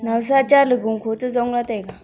nawsa cha ley gu kho toh jong lah ley taiga.